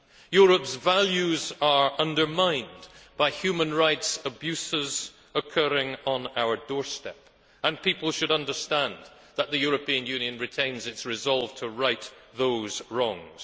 Europe's values are undermined by human rights abuses occurring on our doorstep, and people should understand that the European Union retains its resolve to right those wrongs.